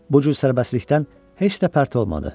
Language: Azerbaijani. Bu cür sərbəstlikdən heç də pərt olmadı.